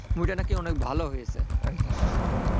movie টা নাকি অনেক ভালো হয়েছে।